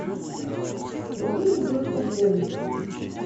вруби мне девушка в поезде